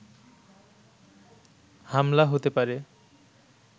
হামলা হতে পারে